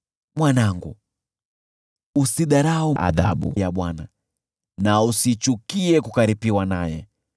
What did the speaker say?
Mwanangu, usiidharau adhabu ya Bwana na usichukie kukaripiwa naye,